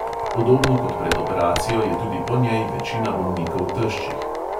Podobno kot pred operacijo je tudi po njej večina bolnikov teščih.